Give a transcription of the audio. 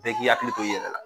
Bɛɛ k'i hakili to i yɛlɛ la